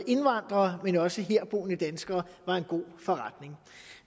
indvandrere men også herboende danskere var en god forretning